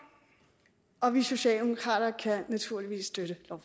og vi socialdemokrater kan naturligvis støtte